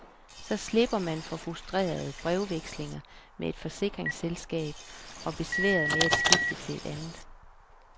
Så slipper man for frustrerende brevvekslinger med et forsikringsselskab og besværet med at skifte til et andet.